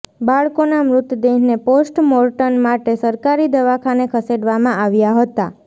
બાળકોના મૃતદેહને પોસ્ટમોર્ટમ માટે સરકારી દવાખાને ખસેડવામાં આવ્યા હતા